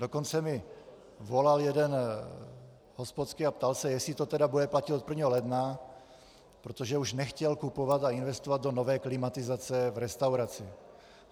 Dokonce mi volal jeden hospodský a ptal se, jestli to tedy bude platit od 1. ledna, protože už nechtěl kupovat a investovat do nové klimatizace v restauraci.